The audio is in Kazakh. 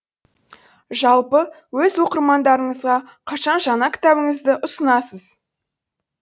жалпы өз оқырмандарыңызға қашан жаңа кітабыңызды ұсынасыз